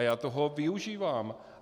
A já toho využívám.